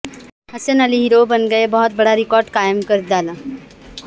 حسن Ali hero بن گئے بہت بڑا ریکارڈ قائم کر ڈالا